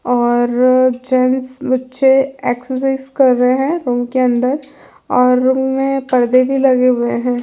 और जेंट्स बच्चों एक्सरसाइज कर रहे हैं रूम के अंदर और रूम में पर्दे भी लगे हुए हैं।